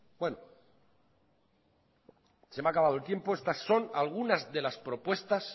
se me ha acabado el tiempo estas son algunas de las propuestas